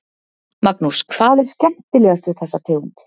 Magnús: Hvað er skemmtilegast við þessa tegund?